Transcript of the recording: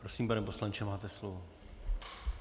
Prosím, pane poslanče, máte slovo.